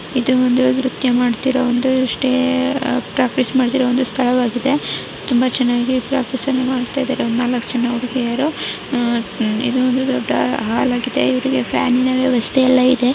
ಇದು ಒಂದು ನೃತ್ತ್ಯ ಮಾಡುತ್ತಿರುವ ಒಂದೂ ಪ್ರಾಕ್ಟಿಸ್ ಮಾಡುತ್ತಿರುವ ಒಂದು ಸ್ಥಳವಿದೆ ತುಂಬಾ ಚೆನ್ನಾಗಿ ಪ್ರಾಕ್ಟಿಸ್ ಮಾಡುತಿದ್ದರೆ ಈ ನಾಲ್ಕು ಜನ ಹುಡುಗಿಯರು ಇದು ಒಂದು ದೊಡ್ಡಾ ಹಾಲ್ಆ ಗಿದೆ ಇಲ್ಲಿ ಫ್ಯಾನ್ಗ ಳ ವೆವಸ್ಥೆಯಲ್ಲಾ ಇದೆ.